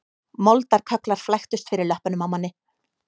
Moldarkögglar flæktust fyrir löppunum á manni